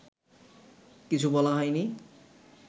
কিছু বলা হয়নি